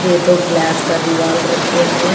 ये तो गिलास का दिवाल रखें है।